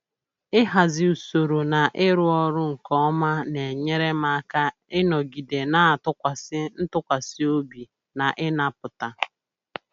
Ịhazi usoro na ịrụ ọrụ nke ọma na-enyere m aka ịnọgide na-atụkwasị ntụkwasị obi na ịnapụta